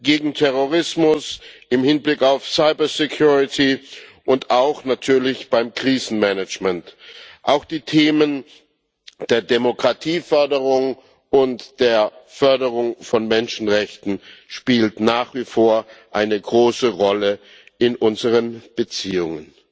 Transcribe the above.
gegen Terrorismus, im Hinblick auf Cybersicherheit und auch natürlich beim Krisenmanagement. Auch die Themen der Demokratieförderung und der Förderung von Menschenrechten spielten nach wie vor eine große Rolle in unseren Beziehungen.